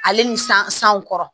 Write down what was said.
Ale ni san san kɔrɔ